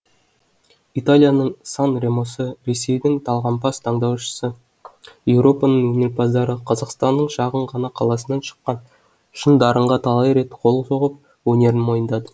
италияның сан ремосы ресейдің талғампаз тыңдаушысы еуропаның өнерпаздары қазақстанның шағын ғана қаласынан шыққан шын дарынға талай рет қол соғып өнерін мойындады